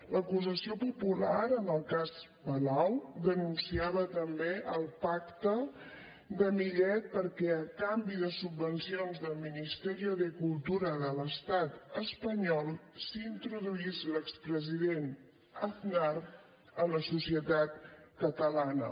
l’acusació popular en el cas palau denunciava també el pacte de millet perquè a canvi de subvencions del ministerio de cultura de l’estat espanyol s’introduís l’expresident aznar a la societat catalana